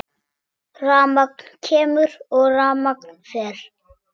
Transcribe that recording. Rafmagn kemur og rafmagn fer.